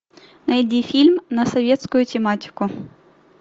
найди фильм на советскую тематику